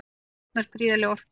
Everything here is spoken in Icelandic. Þá losnar gríðarleg orka.